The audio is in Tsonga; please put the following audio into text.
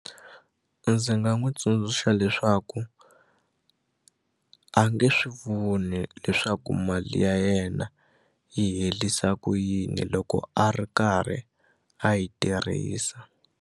Ndzi nga n'wi tsundzuxa leswaku a nge swi voni leswaku mali ya yena yi herisa ku yini loko a ri karhi a yi tirhisa.